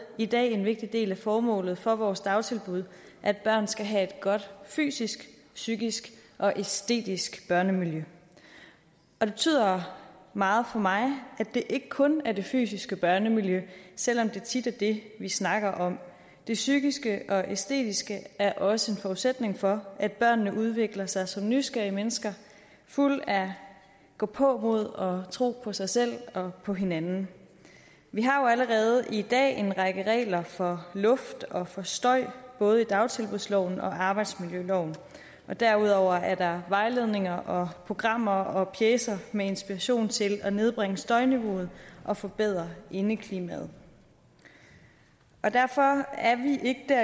i dag en vigtig del af formålet for vores dagtilbud at børn skal have et godt fysisk psykisk og æstetisk børnemiljø det betyder meget for mig at det ikke kun er det fysiske børnemiljø selv om det tit er det vi snakker om det psykiske og æstetiske er også en forudsætning for at børnene udvikler sig til nysgerrige mennesker fulde af gåpåmod og tro på sig selv og på hinanden vi har jo allerede i dag en række regler for luft og for støj både i dagtilbudsloven og i arbejdsmiljøloven og derudover er der vejledninger og programmer og pjecer med inspiration til at nedbringe støjniveauet og forbedre indeklimaet derfor er vi ikke